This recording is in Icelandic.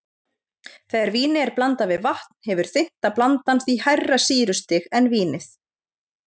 Þegar víni er blandað við vatn hefur þynnta blandan því hærra sýrustig en vínið.